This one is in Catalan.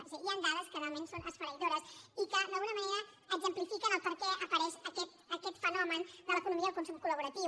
és a dir hi han dades que realment són esfere·ïdores i que d’alguna manera exemplifiquen per què apareix aquest fenomen de l’economia i el consum col·laboratiu